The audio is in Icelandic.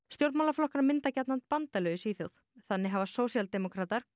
stjórnmálaflokkar mynda gjarnan bandalög í Svíþjóð þannig hafa sósíaldemókratar